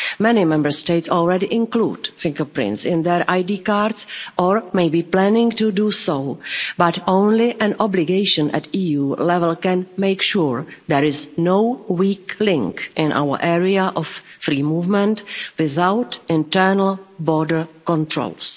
Many Member States already include fingerprints in their ID cards or may be planning to do so, but only an obligation at EU level can make sure there is no weak link in our area of free movement without internal border controls.